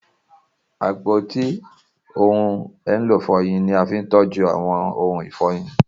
Apoti ohun elo ifọyin ni a fi ńtọju awọn ohun ifọyin.